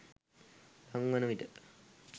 ළං වන විට